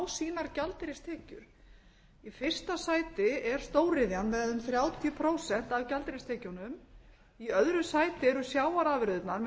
fá sínar gjaldeyristekjur í fyrsta sæti er stóriðjan með um þrjátíu prósent af gjaldeyristekjunum í öðru sæti eru sjávarafurðirnar með